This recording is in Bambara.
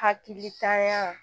Hakilitanya